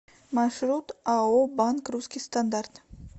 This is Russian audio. маршрут ао банк русский стандарт